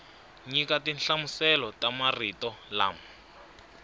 nyika tinhlamuselo ta marito lama